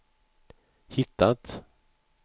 hittat